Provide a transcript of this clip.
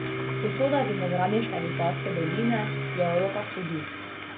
Usoda vinogradniške Vipavske doline je v rokah sodišč...